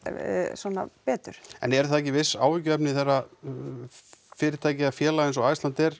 svona betur en eru það ekki viss áhyggjuefni þegar að fyrirtæki eða félag eins og Iceland